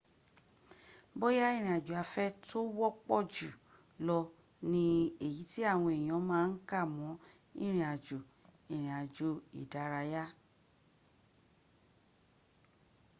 bóyá ìrìn àjò afẹ́ tó wọ́ pọ̀jù lọ ní ní èyi tí àwọn èyàn ma ń kà mọ́ ìrìn àjò: ìrìn àjò ìdárayá